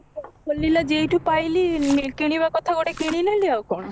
ଖୋଲିଲେ ଯୋଉଠୁ ପାଇଲି କିଣିବା କଥା ଗୋଟେ କିଣି ନେଲି ଆଉ କଣ